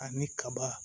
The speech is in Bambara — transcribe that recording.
Ani kaba